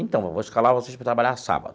Então, eu vou escalar vocês para trabalhar sábado.